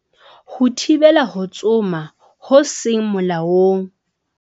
Ho thibela ho tsoma ho seng molaong